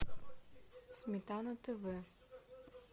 сметана тв